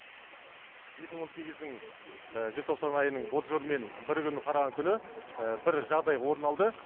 дің желтоқсан айының і мен і күні қараған күні жағдай орын алды